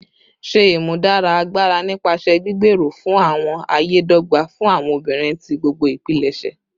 Ṣe imudara agbara nipasẹ gbigbero fun awọn aye dogba fun awọn obinrin ti gbogbo ipilẹṣẹ